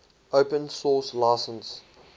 open source license